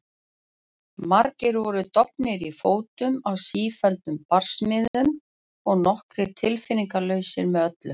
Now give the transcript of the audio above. Margir voru dofnir í fótum af sífelldum barsmíðum og nokkrir tilfinningalausir með öllu.